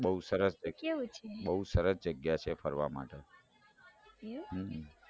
બૌ સરસ જગ્યા છે ફરવા માટે